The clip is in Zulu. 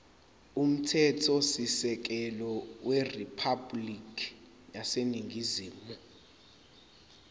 umthethosisekelo weriphabhulikhi yaseningizimu